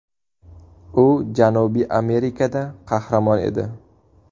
U Janubiy Amerikada qahramon edi.